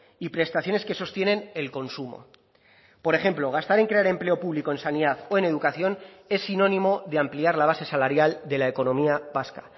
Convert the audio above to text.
y prestaciones que sostienen el consumo por ejemplo gastar en crear empleo público en sanidad o en educación es sinónimo de ampliar la base salarial de la economía vasca